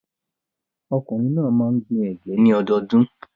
Ọkùnrin náà máa gbin ẹ̀gẹ́ ní ọdọọdún.